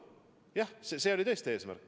Jah, see oli tõesti eesmärk.